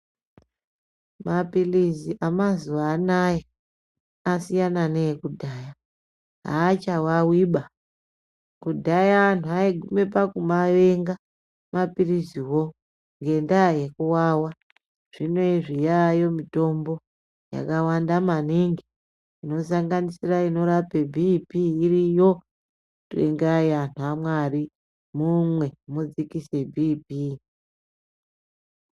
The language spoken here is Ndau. Maphirizi amazuva anaya asiyana neekudhaya. Haachawawiba, kudhaya antu aigume pakumavenga maphiriziwo ngendaa yekuwawa, zvinezvi yaayo mitombo yakawanda maningi inosanganisire inorape bhiipii iriyo, tengai antu mwari, mumwe mudzikise bhiipii.